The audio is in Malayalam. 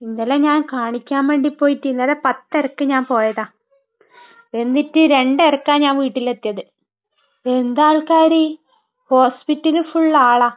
ഇന്നലെ ഞാൻ കാണിക്കാൻ വേണ്ടി പോയിട്ട്...ഇന്നലെ പത്തരക്ക് ഞാൻ പോയതാ. എന്നിട് രണ്ടരയ്ക്കാ ഞാൻ വീട്ടിൽ എത്തിയത്. എന്താ ആള്ക്കാര്? ഹോസ്പിറ്റൽ ഫുള്ളും ആളാ.